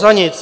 Za nic!